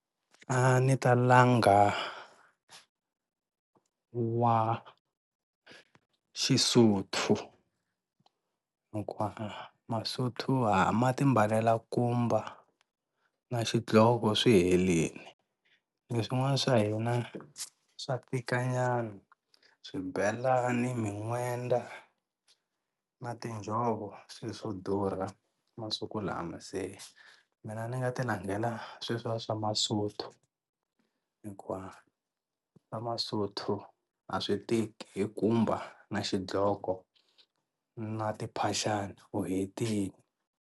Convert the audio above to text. A ni ta langa wa xi-Sotho hikuva maSotho ha ma timbalela nkumba na xidloko swi helini, leswin'wana swa hina swa tika nyana swibelani, min'wenda na tinjhovo i swilo swo durha masiku lama se mina ni nga ti langela sweswiya swa maSotho hikuva swa maSotho a swi tiki i nkumba na xidloko na timphaxani u hetile.